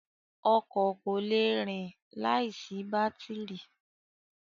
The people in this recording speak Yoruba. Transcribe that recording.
Ọkọ̀ kò le rìn láìsí bátìrì.